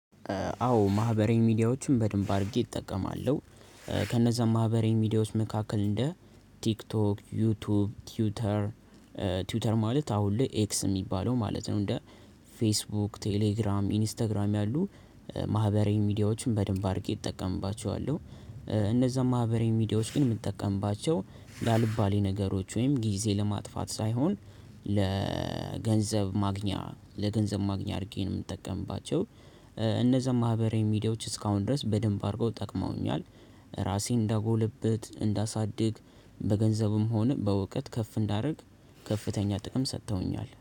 አዎ ማህበረዊ ሚዲያዎችን በድንብ አድርጌ እጠቀማለሁ። ከነዛ ማህበረዊ ሚዲያዎች መካከል እንደ ቲክቶክ፤ ዩቲዩብ፤ ትዊተር፤ ትዊተር ማለት አሁን ላይ ኤክስ የሚባለው ማለት ነው እንደ ፌስቡክ፤ ቴሌግራም፤ ኢንስታግራም ያሉ ማህበረዊ ሚዲያዎችን በደንብ አድርጌ እጠቀምባቸዋለሁ። እነዛም ማህበራዊ ሚዲያዎች ግን የምትጠቀምባቸው ለአልባሌ ነገሮች ወይም ጊዜ ለማጥፋት ሳይሆን ለገንዘብ ማግኛ ለገንዘብ ማግኛ አድርጌ ነው የምጠቀምባቸው። እነዛ ማህበራዊ ሚዲያዎች እስካሁን ድረስ በደንብ አድርገው ጠቅመውኛል። ራሴን እንዳጎልብት እንዳሳድግ በገንዘብም ሆነ በእውቀት ከፍ እንዳደርግ ከፍተኛ ጥቅም ሰጥተውኛል።